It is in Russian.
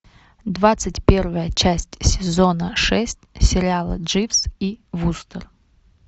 двадцать первая часть сезона шесть сериала дживс и вустер